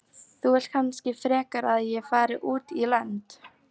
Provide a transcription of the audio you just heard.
Þú vilt kannski frekar að ég fari út í lönd